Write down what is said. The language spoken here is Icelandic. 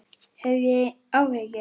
Hef ég áhyggjur?